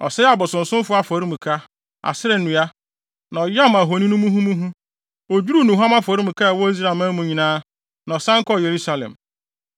Ɔsɛee abosonsomfo afɔremuka, Asera nnua, na ɔyam ahoni no muhumuhu. Odwiriw nnuhuam afɔremuka a ɛwɔ Israelman mu nyinaa, na ɔsan kɔɔ Yerusalem.